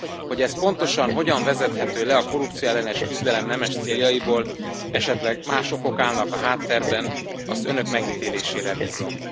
Hogy ez pontosan hogyan vezethető le a korrupcióellenes küzdelem nemes céljaiból, esetleg más okok állnak a háttérben, azt az Önök megítélésére bízom.